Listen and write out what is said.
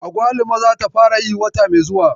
Agwaluma zata fara yayi wata mai zuwa.